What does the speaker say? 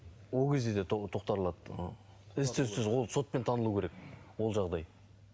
ол кезде де ы із түзсіз ол сотпен танылу керек ол жағдай